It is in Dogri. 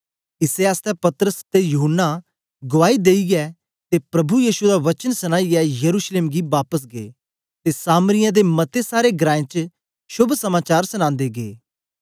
इसै आसतै पतरस ते यहून्ना गुवाई देईयै ते प्रभु यीशु दा वचन सनाईयै यरूशलेम गी बापस गै ते सामरियें दे मते सारे ग्रांऐं च शोभ समाचार सनांदे गै